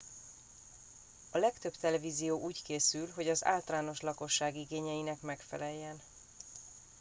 a legtöbb televízió úgy készül hogy az általános lakosság igényeinek megfeleljen